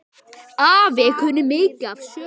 Afi kunni mikið af sögum.